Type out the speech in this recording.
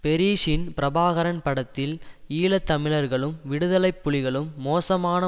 பெரீஷின் பிரபாகரன் படத்தில் ஈழ தமிழர்களும் விடுதலைப்புலிகளும் மோசமான